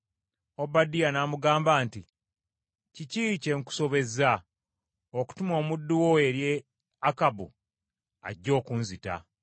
Obadiya n’amugamba nti, “Kiki kye nkusobezza, okutuma omuddu wo eri Akabu ajja okunzita?